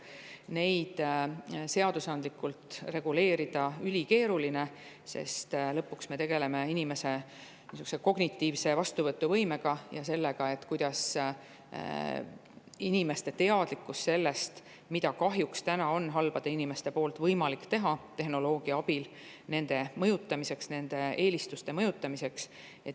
Neid seadusandlikult reguleerida on ülikeeruline, sest lõpuks me tegeleme inimese kognitiivse vastuvõtuvõimega ja sellega, milline on inimeste teadlikkus sellest, mida kahjuks on halbadel inimestel võimalik tehnoloogia abil teha nende mõjutamiseks, nende eelistuste mõjutamiseks.